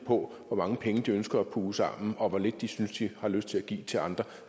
hvor mange penge de ønsker at puge sammen og hvor lidt de synes de har lyst til at give til andre